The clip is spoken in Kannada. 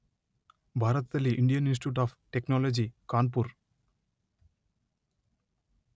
ಭಾರತದಲ್ಲಿ Indian Institute of Technology Kanpur